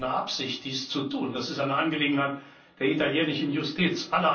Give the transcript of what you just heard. Ich habe auch keine Absicht, dies zu tun. Das ist eine Angelegenheit der italienischen Justiz.